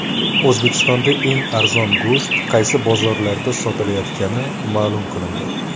O‘zbekistonda eng arzon go‘sht qaysi bozorlarda sotilayotgani ma’lum qilindi.